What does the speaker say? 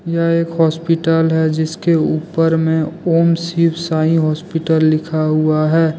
यह एक हास्पिटल है। जिसके ऊपर में ओम शिव साई हॉस्पिटल लिखा हुआ है।